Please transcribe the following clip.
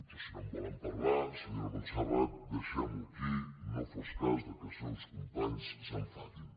però si no en volen parlar senyora montserrat deixem·ho aquí no fos cas que els seus companys s’enfadin